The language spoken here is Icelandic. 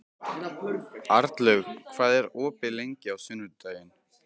Arnlaug, hvað er opið lengi á sunnudaginn?